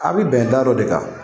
A bi bɛn da dɔ de kan.